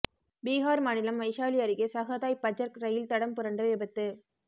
பீஹார் மாநிலம் வைஷாலி அருகே சஹதாய் பஜர்க் ரயில் தடம் புரண்டு விபத்து